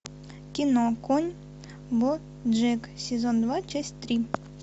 кино конь боджек сезон два часть три